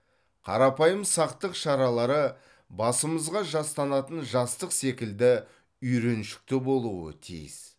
қарапайым сақтық шаралары басымызға жастанатын жастық секілді үйреншікті болуы тиіс